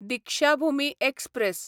Deekshabhoomi express